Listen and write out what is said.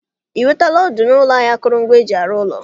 I nwetala ọdụ n'ụlọ ahịa akụrụngwa eji arụ ụlọ?